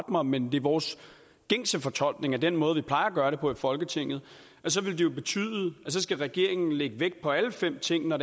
mig men det er vores gængse fortolkning af den måde vi plejer at gøre det på i folketinget og så vil det betyde at regeringen skal lægge vægt på alle fem ting når